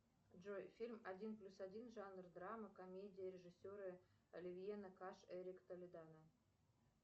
джой фильм один плюс один жанр драма комедия режиссеры оливье накаш эрик толедано